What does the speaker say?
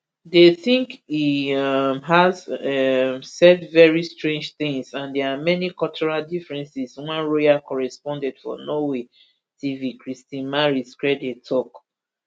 they think he um has um said very strange things and there are many cultural differences one royal correspondent for norway nrk tv kristi marie skrede tok